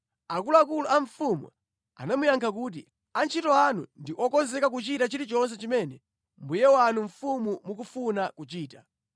Akuluakulu a mfumu anamuyankha kuti, “Antchito anu ndi okonzeka kuchita chilichonse chimene mbuye wathu mfumu mukufuna kuchita.”